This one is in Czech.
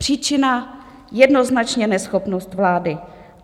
Příčina - jednoznačně neschopnost vlády.